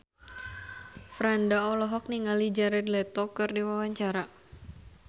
Franda olohok ningali Jared Leto keur diwawancara